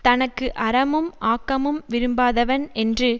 தனக்கு அறமும் ஆக்கமும் விரும்பாதவன் என்று